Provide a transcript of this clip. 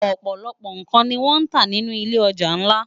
Òpòlòpò n kán ni wòn tá ninú ilé òjá nlá